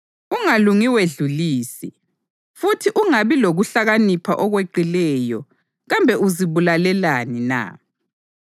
Ungalungi wedlulise, futhi ungabi lokuhlakanipha okweqileyo kambe uzibulalelani na?